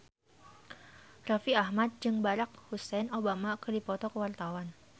Raffi Ahmad jeung Barack Hussein Obama keur dipoto ku wartawan